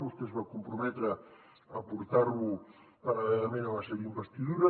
vostè es va comprometre a portar lo paral·lelament a la seva investidura